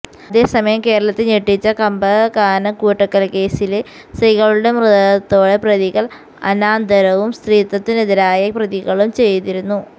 അതേസമയം കേരളത്തെ ഞെട്ടിച്ച കമ്പകക്കാനം കൂട്ടക്കൊലക്കേസില് സ്ത്രീകളുടെ മൃതദേഹത്തോടെ പ്രതികൾ അനാദരവും സ്ത്രീത്വത്തിനെതിരായ പ്രവർത്തികളും ചെയ്തിരുന്നു